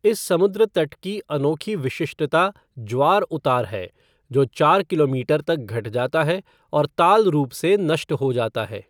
इस समुद्र तट की अनोखी विशिष्टता ज्वार उतार है जो चार किलोमीटर तक घट जाता है और ताल रूप से नष्ट हो जाता है।